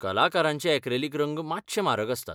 कलाकारांचे ऍक्रॅलिक रंग मात्शे म्हारग आसतात.